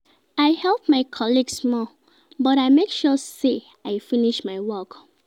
I help my colleague small but I make sure sey I finish my work.